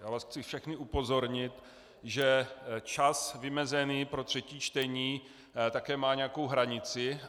Já vás chci všechny upozornit, že čas vymezený pro třetí čtení také má nějakou hranici.